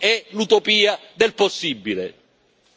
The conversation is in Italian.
Per noi è l'utopia del possibile.